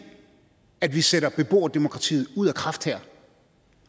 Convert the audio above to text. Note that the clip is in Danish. at vi sætter beboerdemokratiet ud af kraft her